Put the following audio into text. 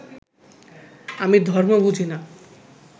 আমি ধর্ম বুঝি না